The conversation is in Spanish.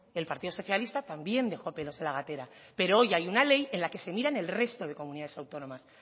el partido socialista también dejó pelos en la gatera pero hoy hay una ley en la que se miran el resto de comunidades autónomas